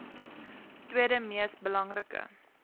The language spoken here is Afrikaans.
tweede mees belangrike